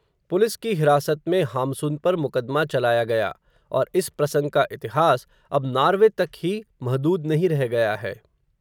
police की हिरासत में, हाम्सुन पर मुकदमा चलाया गया, और इस प्रसंग का इतिहास, अब नार्वे तक ही, महदूद नहीं रह गया है